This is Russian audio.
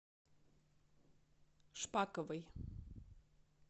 шпаковой